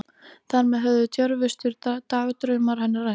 Þar með höfðu djörfustu dagdraumar hennar ræst.